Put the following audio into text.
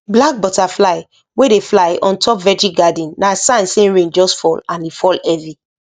black butterfly wey dey fly on top veggie garden na sign say rain just fall and e fall heavy